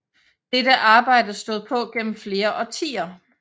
Dette arbejde stod på gennem flere årtier